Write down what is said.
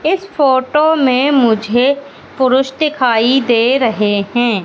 इस फोटो में मुझे पुरुष दिखाई दे रहे हैं।